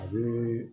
A bɛ